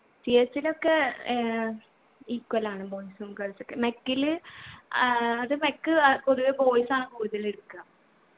CS ഇലൊക്കെ ഏർ equal ആണ് boys ഉം girls ഉ ഒക്കെ mech ല് ആഹ് അത് mech അഹ് പൊതുവെ boys ആണ് കൂടുതല് എടുക്ക